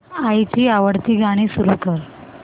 आईची आवडती गाणी सुरू कर